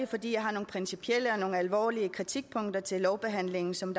fordi jeg har nogle principielle og alvorlige kritikpunkter til lovbehandlingen som